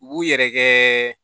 U b'u yɛrɛ kɛɛ